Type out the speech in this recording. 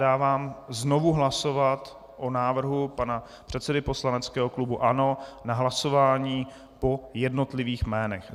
Dávám znovu hlasovat o návrhu pana předsedy poslaneckého klubu ANO na hlasování po jednotlivých jménech.